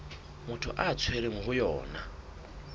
motho a tshwerweng ho yona